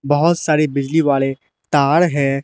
बहुत सारी बिजली वाले तार है।